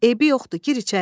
Eybi yoxdur, gir içəriyə.